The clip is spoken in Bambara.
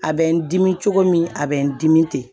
A bɛ n dimi cogo min a bɛ n dimi ten